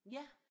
Ja